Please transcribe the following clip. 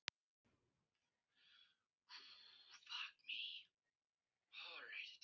En fyrst svona fór fæ ég mig ekki til þess.